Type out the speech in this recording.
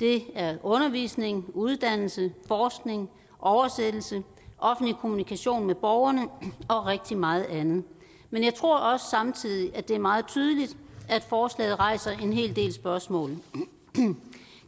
det er undervisning uddannelse forskning oversættelse offentlig kommunikation med borgerne og rigtig meget andet men jeg tror også samtidig at det er meget tydeligt at forslaget rejser en hel del spørgsmål